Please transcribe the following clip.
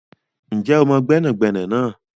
Ǹjẹ́ o mọ gbẹ́nàgbẹnà náà?